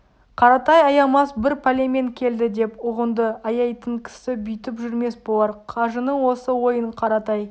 қаратай аямас бір пәлемен келді деп ұғынды аяйтын кісі бүйтіп жүрмес болар қажының осы ойын қаратай